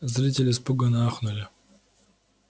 зрители испуганно ахнули